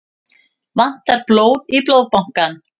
Vantar blóð í Blóðbankann